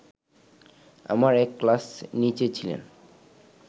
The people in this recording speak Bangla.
আমার এক ক্লাস নিচে ছিলেন